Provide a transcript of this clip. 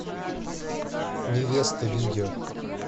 невеста видео